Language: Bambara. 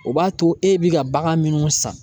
O b'a to e bɛ ka bagan minnu san